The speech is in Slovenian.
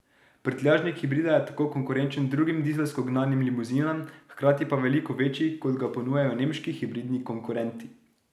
Prtljažnik hibrida je tako konkurenčen drugim dizelsko gnanim limuzinam, hkrati pa veliko večji, kot ga ponujajo nemški hibridni konkurenti.